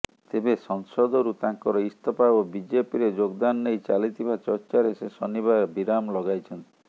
ତେବେ ସଂସଦରୁ ତାଙ୍କର ଇସ୍ତଫା ଓ ବିଜେପିରେ ଯୋଗଦାନ ନେଇ ଚାଲିଥିବା ଚର୍ଚାରେ ସେ ଶନିବାର ବିରାମ ଲଗାଇଛନ୍ତି